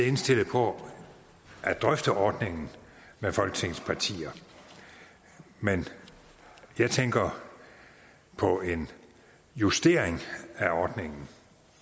indstillet på at drøfte ordningen med folketingets partier men jeg tænker på en justering af ordningen